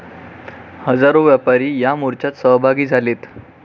हजारो व्यापारी या मोर्च्यात सहभागी झालेत.